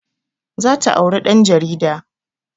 Za ta auri ɗan jarida